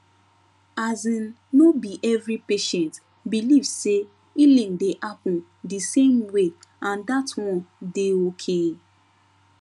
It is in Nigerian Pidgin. asin no be every patient believe say healing dey happen di same way and that one dey okay